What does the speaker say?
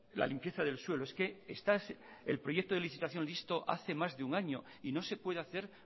la limpieza del suelo es que está el proyecto de licitación listo hace más de un año y no se puede hacer